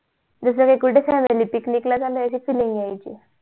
बिचारी कुठे चालेली picnic ला जाण्या ची feeling यायची